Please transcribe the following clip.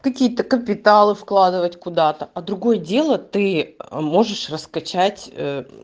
какие-то капиталы вкладывать куда-то а другое дело ты можешь расскачать аа